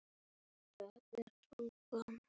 spyr hún beint út.